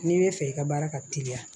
N'i bɛ fɛ i ka baara ka teliya